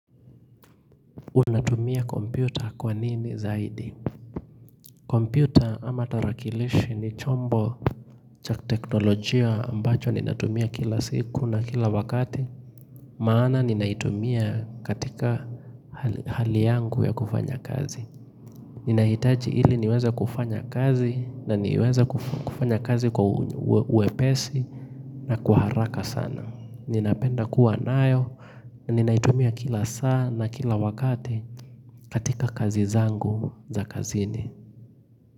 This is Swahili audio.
Unatumia kompyuta kwa nini zaidi? Kompyuta ama tarakilishi ni chombo cha kiteknolojia ambacho ninatumia kila siku na kila wakati Maana ninaitumia katika hali yangu ya kufanya kazi Ninahitaji ili niweze kufanya kazi na niweze kufanya kazi kwa wepesi na kwa haraka sana ninapenda kuwa nayo Ninaitumia kila saa na kila wakati katika kazi zangu za kazini.